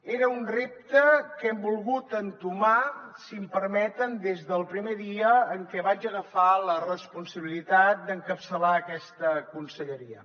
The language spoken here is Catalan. era un repte que hem volgut entomar si em permeten des del primer dia en què vaig agafar la responsabilitat d’encapçalar aquesta conselleria